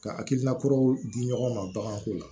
Ka hakilina kuraw di ɲɔgɔn ma baganko la